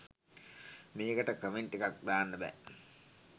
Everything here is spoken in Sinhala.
මේකට කමෙන්ට් එකක් දාන්න බෑ